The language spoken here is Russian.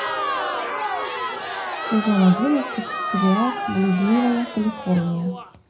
сезон одиннадцать сериал блудливая калифорния